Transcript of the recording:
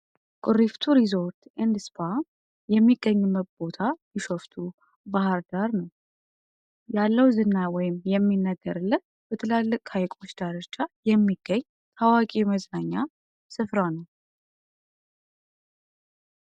ቁሪፍቱ ሪዞርት እንድስፓር የሚገኝመት ቦታ ቢሸፍቱ ባህር ዳር ነው ያለው ዝና ወይም የሚነገር ለት በትላለቅ ሀይቆች ዳረቻ የሚገኝ ታዋቂ የመዝናኛ ስፍራ ነው